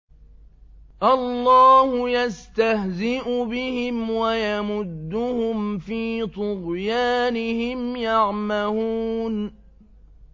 اللَّهُ يَسْتَهْزِئُ بِهِمْ وَيَمُدُّهُمْ فِي طُغْيَانِهِمْ يَعْمَهُونَ